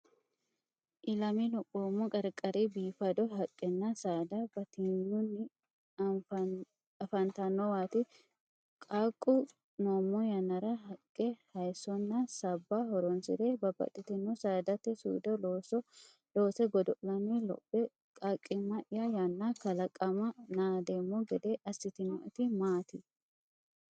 Ilame lophoommo qarqari biifado haqqenna saada batinyunni afantannowaati. Qaaqqu noommo yannara haqqe, hayissonna sabba horonsi’re babbaxxitinota saadate suude loose godo’lanni lophe Qaaqqimma’ya yanna kalaqama naadeemmo gede assitinoeti maati?